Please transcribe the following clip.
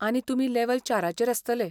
आनी तुमी लेव्हल चाराचेर आसतले.